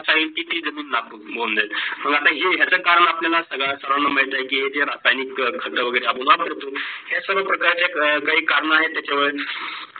किती जमीन लागतो. माग आता जाचा करण आपल्याला सगड्यात् सर्वाला मिडत की जे रसैनी खात वगैरे आपण वापरतो हे सर्व प्रकारचे करणे आहोत त्याच्यावर